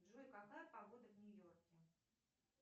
джой какая погода в нью йорке